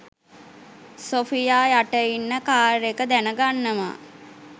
Sophia යට ඉන්න car එක දැන ගන්නවා